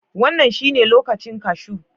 Wannan shine lokacin kashu